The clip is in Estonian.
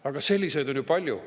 Aga selliseid on ju palju.